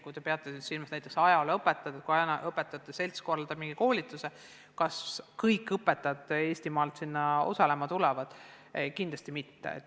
Kui te peate silmas seda, kas ajalooõpetajate seltskonna korraldatud koolitusele tulevad osalema kõik Eesti ajalooõpetajad, siis kindlasti mitte.